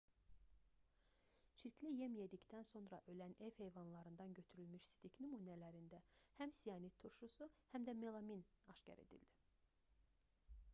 çirkli yem yedikdən sonra ölən ev heyvanlarından götürülmüş sidik nümunələrində həm sianat turşusu həm də melamin aşkar edildi